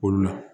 Olu la